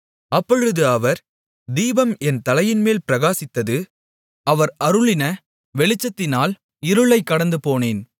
அப்பொழுது அவர் தீபம் என் தலையின்மேல் பிரகாசித்தது அவர் அருளின வெளிச்சத்தினால் இருளைக் கடந்துபோனேன்